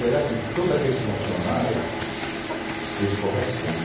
Será que todos aqueles funcionários eles correspondem?